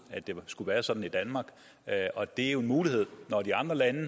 at det skulle være sådan i danmark og det er jo en mulighed når de andre lande